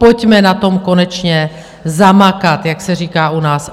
Pojďme na tom konečně zamakat, jak se říká u nás.